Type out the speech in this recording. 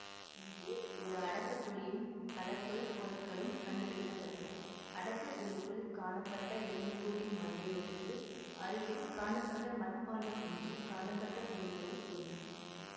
இங்கே ஒரு அடக்க குழியும் பல தொல்பொருட்களும் கண்டுபிடிக்க பட்டன அடக்க குழிக்குள் காணப்பட்ட எலும்புக்கூட்டின் மண்டையோட்டுக்கு அருகில் காணப்பட்ட மட்பாண்டம் ஒன்றில் காணப்பட்ட பொருட்களுள் ஒன்று